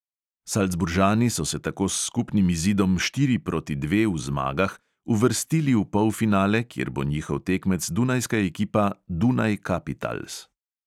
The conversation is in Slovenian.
Saldzburžani so se tako s skupnim izidom štiri proti dve v zmagah uvrstili v polfinale, kjer bo njihov tekmec dunajska ekipa dunaj kapitals.